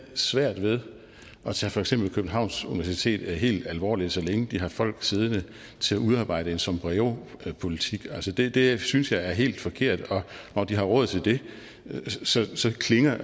svært ved at tage for eksempel københavns universitet helt alvorligt så længe de har folk siddende til at udarbejde en sombreopolitik det det synes jeg er helt forkert og når de har råd til det så så klinger